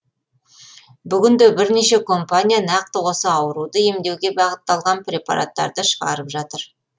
бүгінде бірнеше компания нақты осы ауруды емдеуге бағытталған препараттарды шығарып жатыр